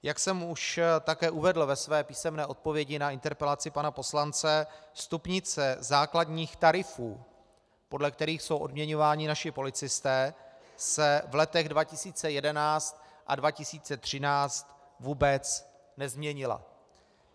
Jak jsem už také uvedl ve své písemné odpovědi na interpelaci pana poslance, stupnice základních tarifů, podle kterých jsou odměňováni naši policisté, se v letech 2011 a 2013 vůbec nezměnila.